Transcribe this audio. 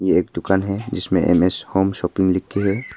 एक दुकान है जिसमे एम_एस होम शॉपिंग लिख के है।